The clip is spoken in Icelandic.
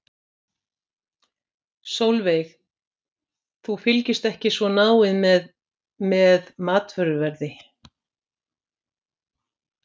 Sólveig: Þú fylgist ekki svo náið með, með matvöruverði?